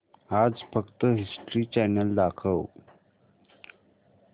आज फक्त History Channel दाखव